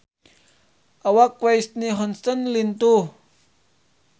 Awak Whitney Houston lintuh